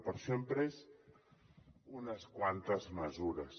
per això hem pres unes quantes mesures